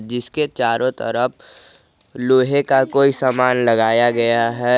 जिसके चारों तरफ लोहे का कोई सामान लगाया गया है।